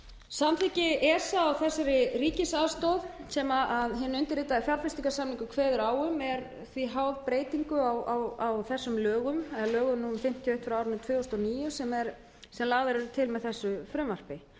samþykki esa á þessari ríkisaðstoð sem hinn undirritaði fjárfestingarsamningur kveður á um er því háð breytingu á þessum lögum lögum númer fimmtíu og eitt tvö þúsund og níu sem lagðar eru til með þessu frumvarpi